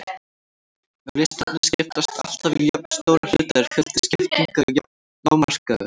Ef listarnir skiptast alltaf í jafnstóra hluta er fjöldi skiptinga lágmarkaður.